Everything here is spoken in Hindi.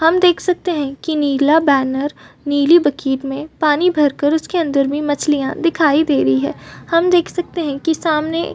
हम देख सकते है की नीला बैनर नीली बकेट में पानी भर के उस के अंदर मछलियां दिखाई दे रही है हम देख सकते है की सामने --